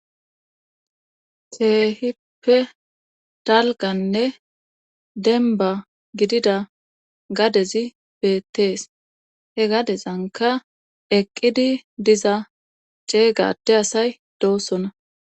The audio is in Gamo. Teehippe talganne denba gidida gadezi beettees he gadezanka eqqidi diza ceegade asay doossona